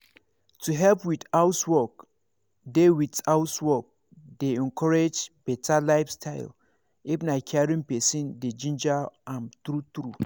to help with housework dey with housework dey encourage better lifestyle if na caring person dey ginger am true true